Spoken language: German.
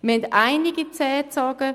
Es wurden einige Zähne gezogen.